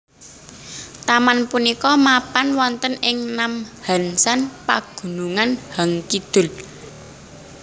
Taman punika mapan wonten ing Namhansan Pagunungan Han Kidul